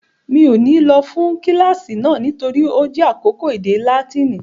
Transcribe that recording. Mi ò ní lọ fún kíláàsì náà nítorí ó jẹ́ àkókò èdè Láátínì